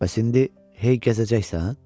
Bəs indi hey gəzəcəksən?